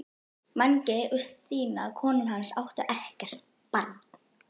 Mangi og Stína konan hans áttu ekkert barn.